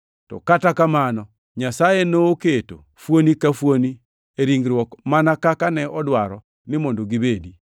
To kata kamano, Nyasaye noketo fuoni ka fuoni e ringruok mana kaka ne odwaro ni mondo gibedi.